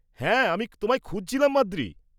হ্যাঁ, আমি তোমায় খুঁজছিলাম, মাদ্রি।